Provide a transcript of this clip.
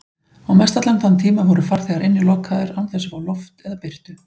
Og mestallan þann tíma voru farþegar innilokaðir án þess að fá loft eða birtu.